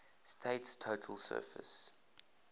state's total surface